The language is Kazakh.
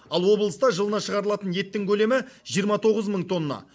ал облыста жылына шығарылатын еттің көлемі жиырма тоғыз мың тонна